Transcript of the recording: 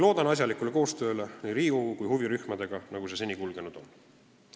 Loodan asjalikule koostööle nii Riigikogu kui huvirühmadega, nagu see töö meil seni kulgenud on.